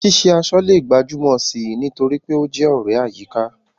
Ṣíṣe aṣọ lè gbajúmọ̀ sí i nítorí pé ó jẹ́ ọ̀rẹ́ àyíká.